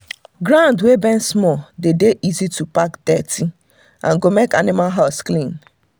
ground wey bend small dey dey easy to pack dirty and go make animal house clean